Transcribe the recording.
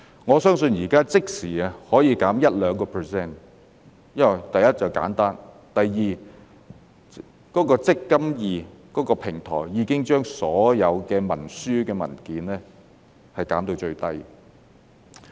我相信現在可以即時減 1% 至 2%， 因為第一，簡單；第二，"積金易"平台已經把所有文書的數量減至最少。